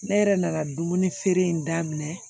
Ne yɛrɛ nana dumuni feere in daminɛ